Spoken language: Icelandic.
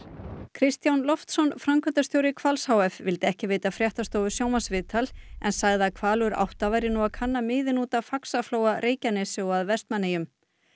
Kristján Loftsson framkvæmdastjóri Hvals h f vildi ekki veita fréttastofu sjónvarpsviðtal en sagði að Hvalur átta væri nú að kanna miðin út af Faxaflóa Reykjanesi og að Vestmannaeyjum